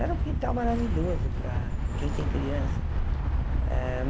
Era um quintal maravilhoso para quem tem criança. Eh